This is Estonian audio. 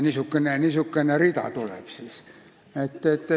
Niisugune rida tuleb siis.